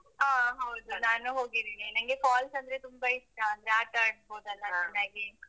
ಹಾ ಹೌದು. ನಾನು ಹೋಗಿದಿನಿ ನಂಗೆ falls ಅಂದ್ರೆ ತುಂಬಾ ಇಷ್ಟಅಂದ್ರೆ ಆಟಾಡ್ಬೋದಲ್ಲಾ ಚೆನ್ನಾಗಿ.